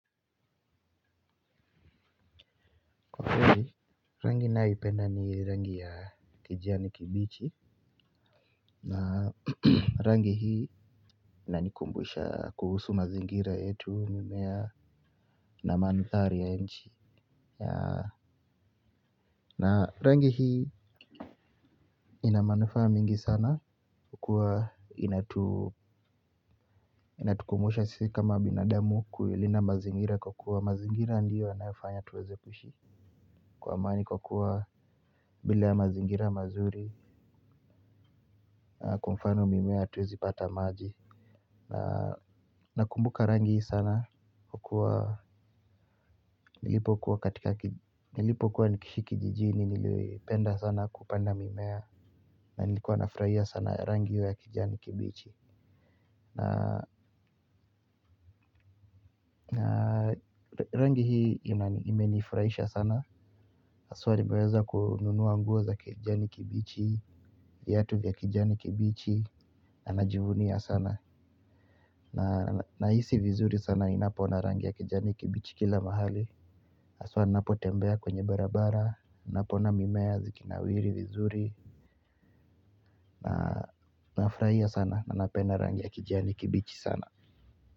Rangi naipenda ni rangi ya kijani kimbichi na rangi hii inanikumbusha kuhusu mazingira yetu, mimea na mantari ya nchi. Na rangi hii ina manufaa mingi sana kukua inatukumbusha sisi kama binadamu kuilinda mazingira kwa kuwa mazingira ndiyo yanayofanya tuweze kushi kwa amani kwa kuwa bila mazingira mazuri kwa mfano mimea hatuwezi pata maji. Nakumbuka rangi hii sana kwa kuwa nilipo kuwa katika nilipokuwa nikiishi kijijini nilipenda sana kupanda mimea na nilikuwa nafurahia sana rangi ya kijani kibichi. Na rangi hii imenifurahisha sana haswa nimeweza kununua nguo za kijani kibichi viatu vya kijani kibichi na najivunia sana. Na nahisi vizuri sana ninapo ona rangi ya kijani kibichi kila mahali. Haswa ninapo tembea kwenye barabara napoona mimea zikinawiri vizuri na nafurahia sana na napenda rangi ya kijani kibichi sana.